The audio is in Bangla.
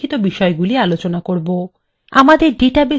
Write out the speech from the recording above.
আমাদের ডাটাবেসএর উদ্দেশ্য নির্ধারণ